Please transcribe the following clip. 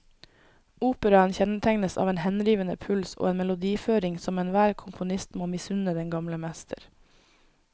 Operaen kjennetegnes av en henrivende puls og en melodiføring som enhver komponist må misunne den gamle mester.